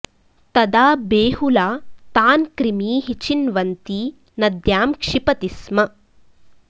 तदा बेहुला तान् क्रिमीः चिन्वन्ती नद्यां क्षिपति स्म